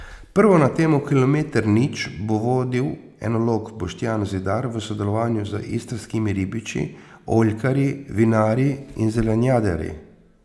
Prvo na temo Kilometer nič bo vodil enolog Boštjan Zidar v sodelovanju z istrskimi ribiči, oljkarji, vinarji in zelenjadarji.